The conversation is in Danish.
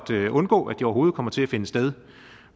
at undgå at det overhovedet kommer til at finde sted